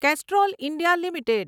kestrel India limited